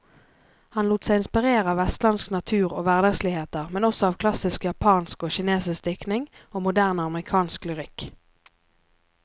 Han lot seg inspirere av vestlandsk natur og hverdagsligheter, men også av klassisk japansk og kinesisk diktning og moderne amerikansk lyrikk.